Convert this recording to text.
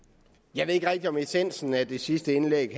jeg ved ikke rigtig om essensen af det sidste indlæg